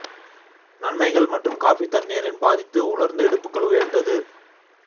நன்மைகள் மற்றும் காபி தண்ணீர் இன் பாதித்து உலர்ந்த இடுப்புகள் உயர்ந்தது